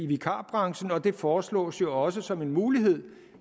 vikarbranchen og det foreslås jo også som en mulighed